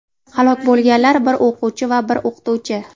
Halok bo‘lganlar: bir o‘quvchi va bir o‘qituvchi.